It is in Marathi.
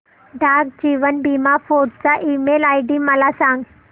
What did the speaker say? डाक जीवन बीमा फोर्ट चा ईमेल आयडी मला सांग